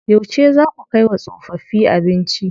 Yauce zaa ku kai wa tsofaffi abinci?